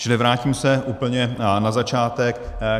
Čili vrátím se úplně na začátek.